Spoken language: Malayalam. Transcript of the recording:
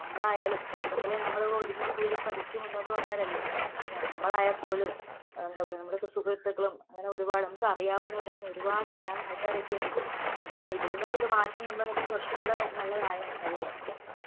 നമ്മളായാലും ചെറുപ്പത്തിലേ നമ്മള് ഒതുങ്ങിക്കൂടി പഠിച്ചു മുന്നോട്ട് വന്നവരല്ലേ . നമ്മളായാൽപോലും ആ എന്താപറയുക നമ്മുടെയൊക്കെ സുഹൃത്തുക്കളും അങ്ങനെ ഒരുപാട് നമുക്കറിയാവുന്നവരും അങ്ങനെ ഒരുപാട് അറിയാവുന്നെ ആൾക്കാരൊക്കെയുണ്ട്. പക്ഷെ ഇതിൽനിന്നൊക്കെയൊരു മാറ്റം കൊണ്ടുവന്നിരുന്നെങ്കിൽ കുറച്ചുംകൂടെ നല്ലതായേനെ അല്ലെ.